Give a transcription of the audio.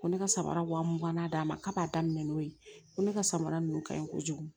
Ko ne ka samara wa mugan d'a ma k'a b'a daminɛ n'o ye ko ne ka samara ninnu ka ɲi kojugu